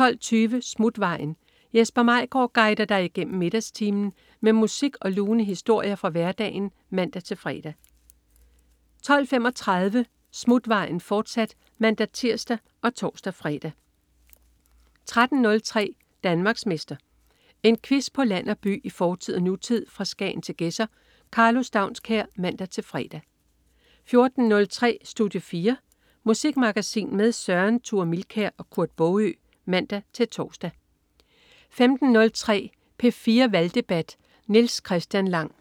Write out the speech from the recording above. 12.20 Smutvejen. Jesper Maigaard guider dig igennem middagstimen med musik og lune historier fra hverdagen (man-fre) 12.35 Smutvejen, fortsat (man-tirs og tors-fre) 13.03 Danmarksmester. En quiz på land og by, i fortid og nutid, fra Skagen til Gedser. Karlo Staunskær (man-fre) 14.03 Studie 4. Musikmagasin med Søren Thure Milkær og Kurt Baagø (man-tors) 15.03 P4 Valgdebat. Niels Christian Lang